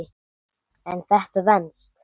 En þetta venst.